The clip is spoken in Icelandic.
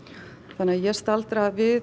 þannig að ég staldra við